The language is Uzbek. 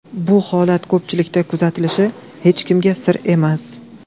Bu holat ko‘pchilikda kuzatilishi hech kimga sir emas.